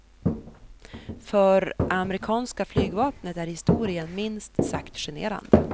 För amerikanska flygvapnet är historien minst sagt generande.